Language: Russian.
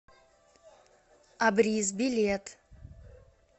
абрис билет